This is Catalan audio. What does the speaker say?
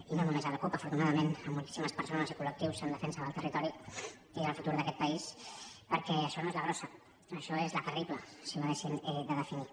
i no només la cup afortunadament moltíssimes persones i col·lectius en defensa del territori i del futur d’aquest país perquè això no és la grossa això és la terrible si ho haguéssim de definir